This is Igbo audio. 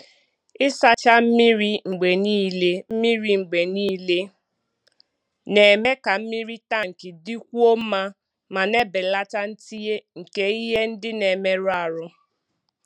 Ịsacha mmiri mgbe niile mmiri mgbe niile na-eme ka mmiri tank dịkwuo mma ma na-ebelata ntinye nke ihe ndị na-emerụ ahụ.